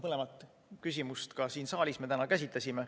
Mõlemat küsimust siin saalis me täna ka käsitlesime.